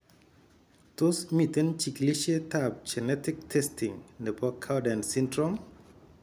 Tos miten chigilisiet ab genetic testing nebo Cowden syndrome?